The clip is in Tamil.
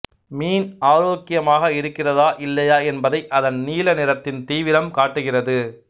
மீன் ஆரோக்கியமாக இருக்கிறதா இல்லையா என்பதை அதன் நீல நிறத்தின் தீவிரம் காட்டுகிறது